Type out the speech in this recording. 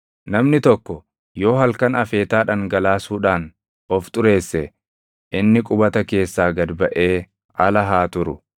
Namni tokko yoo halkan afeetaa dhangalaasuudhaan of xureesse inni qubata keessaa gad baʼee ala haa turu.